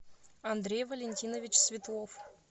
андрей валентинович светлов